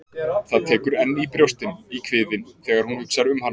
Það tekur enn í brjóstin, í kviðinn, þegar hún hugsar um hana.